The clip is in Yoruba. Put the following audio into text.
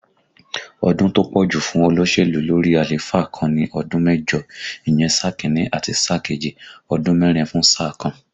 Ọdún tó pọ̀ jù fún olóṣèlú lórí àléfà kan ni ọdún mẹ́jọ, ìyẹn sáà Kínní àti sáà kejì, ọdún mẹ́rin fún sáà kan